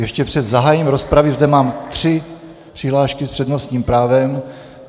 Ještě před zahájením rozpravy zde mám tři přihlášky s přednostním právem.